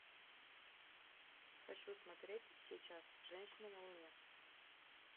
хочу смотреть сейчас женщина на луне